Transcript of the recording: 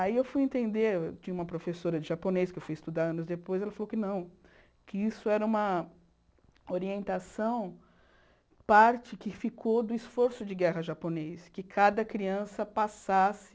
Aí eu fui entender, tinha uma professora de japonês que eu fui estudar anos depois, ela falou que não, que isso era uma orientação, parte que ficou do esforço de guerra japonês, que cada criança passasse